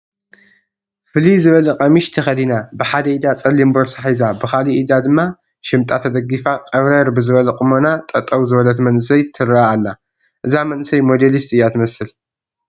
ፍልይ ዝበለ ቀሚሽ ተኸዲና፣ ብሓደ ኢዳ ፀሊም ቦርሳ ሒዛ ብኻልእ ኢዳ ድማ ሽምጣ ተደጊፋ ቀብረር ብዝበለ ቁመና ጠጠው ዝበለት መንእሰይ ትርአ ኣላ፡፡ እዛ መንእስይ ሞዴሊስት እያ ትመስል፡፡